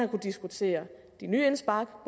diskutere de nye indspark